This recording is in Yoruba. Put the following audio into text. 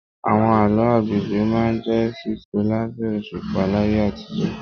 Àwọn àlọ́ àpagbè máa n jẹ sísọ labẹ òṣùpá láyé àtijọ́